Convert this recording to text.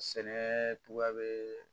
Sɛnɛ cogoya bɛ